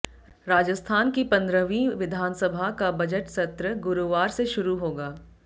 राजस्थान की पन्द्रहवीं विधानसभा का बजट सत्र गुरुवार से शुरू होगा